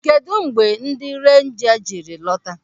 Kedụ mgbe ndị renja jiri lọta?